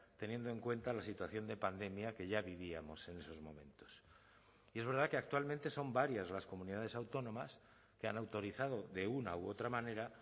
teniendo en cuenta la situación de pandemia que ya vivíamos en esos momentos y es verdad que actualmente son varias las comunidades autónomas que han autorizado de una u otra manera